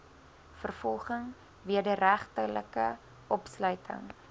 vervolging wederregtelike opsluiting